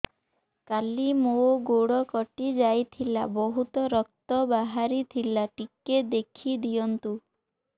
କାଲି ମୋ ଗୋଡ଼ କଟି ଯାଇଥିଲା ବହୁତ ରକ୍ତ ବାହାରି ଥିଲା ଟିକେ ଦେଖି ଦିଅନ୍ତୁ